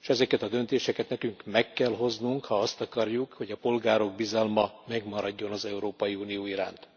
s ezeket a döntéseket nekünk meg kell hoznunk, ha azt akarjuk, hogy a polgárok bizalma megmaradjon az Európai Unió iránt.